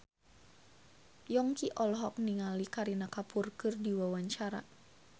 Yongki olohok ningali Kareena Kapoor keur diwawancara